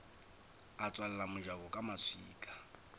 a tswalela mojako ka maswika